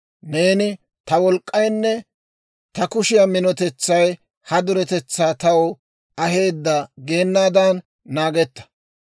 Neeni, ‹Ta wolk'k'aynne ta kushiyaa minotetsay ha duretetsaa taw aheedda› geenaadan naagetta.